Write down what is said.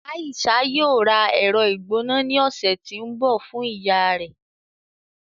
Aisha yóò rà ẹrọ-igbona ni ọsẹ ti ńbọ fun iyà rẹ.